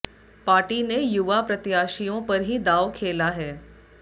party ने युवा प्रत्याशियों पर ही दाव ख्ेला है